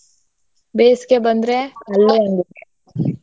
ಬೇಸ್ಗೆ ಬಂದ್ರೆ